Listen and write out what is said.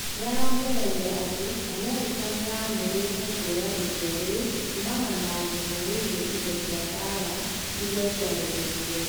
Niaraongereire ati Amerika niyamurite kuoya itua riu kuumana na umenyo wegie indo cia mbara iria ciahũthekire